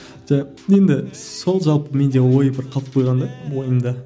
енді сол жалпы менде ой бір қалып қойған да ойымда